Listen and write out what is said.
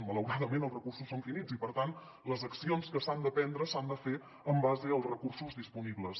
malauradament els recursos són finits i per tant les accions que s’han de prendre s’han de fer en base als recursos disponibles